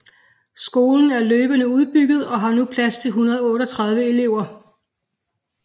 Skolen er løbende udbygget og har nu plads til 138 elever